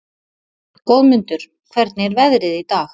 Goðmundur, hvernig er veðrið í dag?